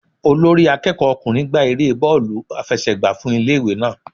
Olórí akẹ́kọ̀ọ́ ọkùnrin gba erée bóòlù àfẹsẹ̀gbá fún ilé ìwé náà.